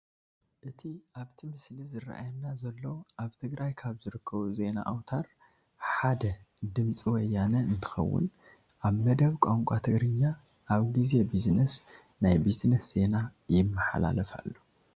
እቲ ኣብቲ ምስሊ ዝራኣየና ዘሎ ኣብ ትግራይ ካብ ዝርከቡ ዜና ኣውትር ሓደ ድምፂ ወያነ እንትኸውን ኣብ መደብ ቋንቋ ትግርኛ ኣብ ጊዜ ቢዝነስ ናይ ቢዝነስ ዜና ይመላለፍ ኣሎ፡፡